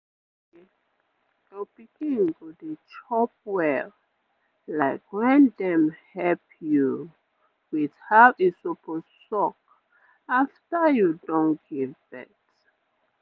you sabi say your pikin go dey chop well like wen dem help you with how e suppose suck afta you don give birth